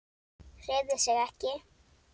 Hreyfði sig ekki.